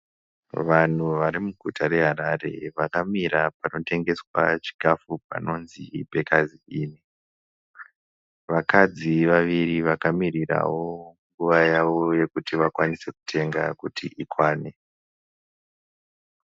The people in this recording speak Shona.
Vanhu varimuguta reHarare vakamira panotengeswa chikafu panonzi Bakers Inn. Vakadzi vaviri vakamirirawo nguva yavo yekuti vakwanise kutenga kuti ikwane.